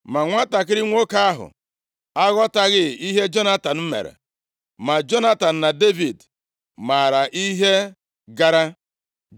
Ma nwantakịrị nwoke ahụ aghọtaghị ihe Jonatan mere; ma Jonatan na Devid maara ihe gara.